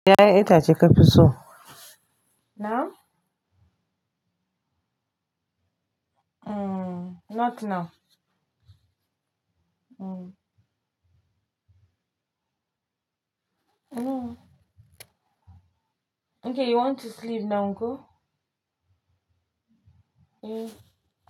Yeah, it has a episode. Now? Mm, not now. Mm. No. Okay, you want to sleep now, uncle? Yeah.